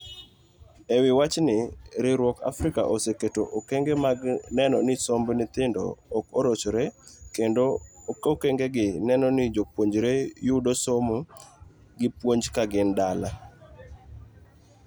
Ewi wachni, riwruok Africa oseketo okenge mag neno ni somb nyithindo ok orochre kendo okengegi neno ni jopuonjregi yudo somo gi puonj kagin dala.